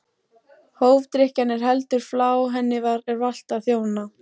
Hófdrykkjan er heldur flá, henni er valt að þjóna.